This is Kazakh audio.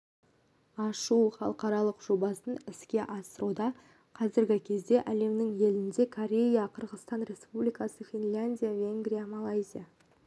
ашу халықаралық жобасын іске асыруда қазіргі кезде әлемнің елінде корея қырғыстан республикасы финляндия венгрия малайзия